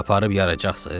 Aparıb yaracaqsınız?